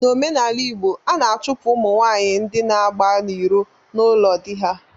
N'omenala igbo, a na-achụpụ ụmụ nwanyị ndị na-agba n'iro n'ụlọ di ha